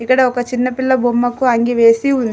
ఇక్కడ ఒక చిన్నపిల్ల బొమ్మకు అంగి వేసి ఉంది.